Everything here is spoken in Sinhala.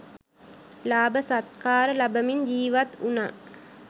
ලාභ සත්කාර ලබමින් ජීවත් වුණා.